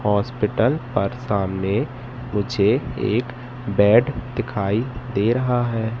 Hospital पर सामने मुझे एक बेड दिखाई दे रहा है।